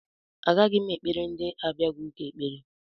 Agaghị m ekpere ndị abịaghị ụka ekpere